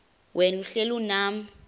wena uhlel unam